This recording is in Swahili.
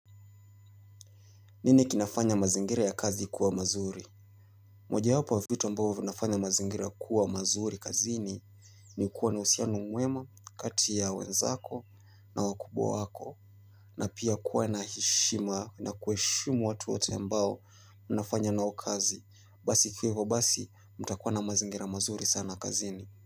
Nini kinafanya mazingira ya kazi kuwa mazuri? Moja yapo ya vitu ambao vinafanya mazingira kuwa mazuri kazini. Ni kuwa na husiano mwema, kati ya wenzako na wakubwa wako. Na pia kuwa na heshima, na kuwaheshimu watu wote ambao mnafanya nao kazi, basi kikiwa hivo basi mtakuwa na mazingira mazuri sana kazini.